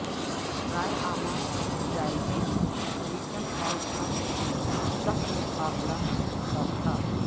رائے عامہ کے جائزوں میں کلنٹن اور ٹرمپ میں سخت مقابلہ متوقع